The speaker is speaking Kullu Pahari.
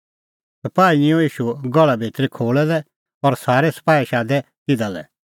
सपाही निंयं ईशू गहल़ा भितरी खोल़ै लै और सारै सपाही शादै तिधा लै